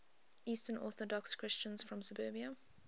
eastern orthodox christians from serbia